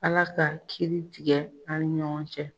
Ala ka kiiri tigɛ an ni ɲɔgɔn cɛ.